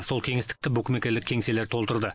сол кеңістікті букмекерлік кеңселер толтырды